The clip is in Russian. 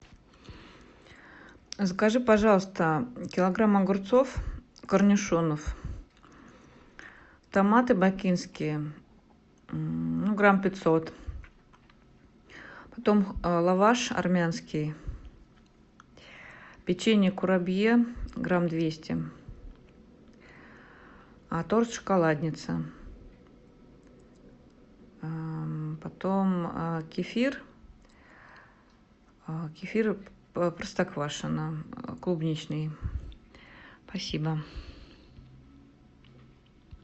закажи пожалуйста килограмм огурцов корнишонов томаты бакинские ну грамм пятьсот потом лаваш армянский печенье курабье грамм двести торт шоколадница потом кефир кефир простоквашино клубничный спасибо